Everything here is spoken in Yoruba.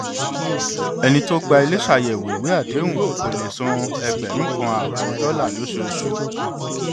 ẹni tó gba ilé ṣàyẹwò ìwé àdéhùn kó lè san ẹgbẹrún kan ààbọ dọlà lóṣooṣù